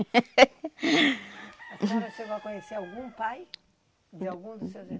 A senhora chegou a conhecer algum pai de algum dos seus